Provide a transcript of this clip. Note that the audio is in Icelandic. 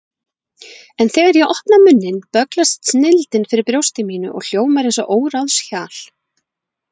En þegar ég opna munninn bögglast snilldin fyrir brjósti mínu og hljómar eins og óráðshjal.